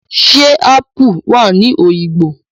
Ṣẹ́ ápù wà ní Òyìngbò?